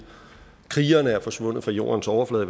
krigere er forsvundet fra jordens overflade